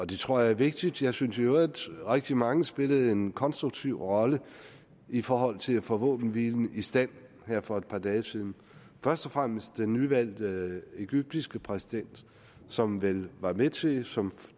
det tror jeg er vigtigt jeg synes i øvrigt at rigtig mange spillede en konstruktiv rolle i forhold til at få våbenhvilen i stand her for et par dage siden først og fremmest den nyvalgte egyptiske præsident som vel var med til som